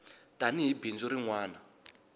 tani hi bindzu rin wana